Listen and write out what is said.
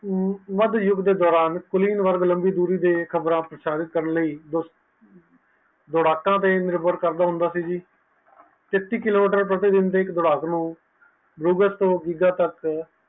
ਵਾਦ ਯੁਗ ਦੇ ਦੌਰਾਨ ਲੰਬੀ ਦੂਰੇ ਦੇ ਪ੍ਰਚਲਿਤ ਕਰਨ ਲਯੀ ਦੋੜਾਕ ਤੇ ਨਿਰਮਤ ਕਰਨ ਹੁੰਦਾ ਹੈ ਸੱਥ ਕਿਲੋਮੀਟਰ ਪ੍ਰਤੀਦਿਨ ਕਰਦੇ ਹਨ